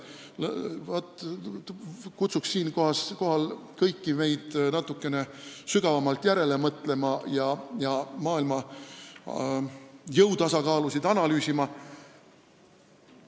Kutsuks siinkohal kõiki meid natukene sügavamalt järele mõtlema ja maailma jõutasakaalu analüüsima.